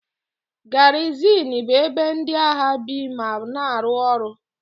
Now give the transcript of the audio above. Garizin bụ ebe ndị agha bi ma na-arụ ọrụ.